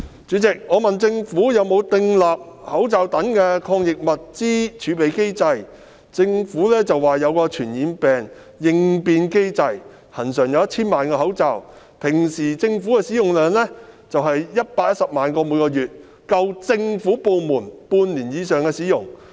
主席，我問政府有否訂立口罩等抗疫物資的儲備機制，政府表示設有傳染病應變計劃，恆常儲備1000萬個口罩，政府部門平時的口罩需求量為每月約110萬個，儲備足夠政府部門使用半年以上。